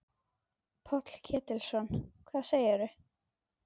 Páll Ketilsson: Hvað segirðu?